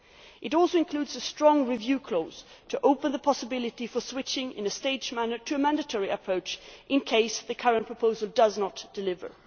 It also includes a strong review clause to open the possibility for switching in a staged manner to a mandatory approach in the event that the current proposal does not deliver.